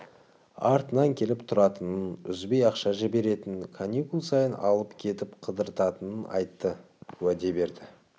артынан келіп тұратынын үзбей ақша жіберетінін каникул сайын алып кетіп қыдыртатынын айтты уәде берді